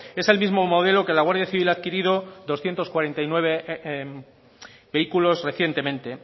es el mismo modelo que la guardia civil ha adquirido doscientos cuarenta y nueve vehículos recientemente